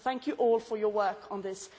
Thank you all for your work on this